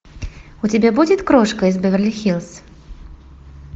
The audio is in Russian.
у тебя будет крошка из беверли хиллз